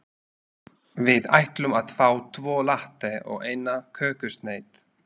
Við ætlum að fá tvo latte og eina kökusneið.